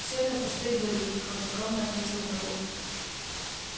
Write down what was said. всё это пустые выдумки хладнокровно ответил мэллоу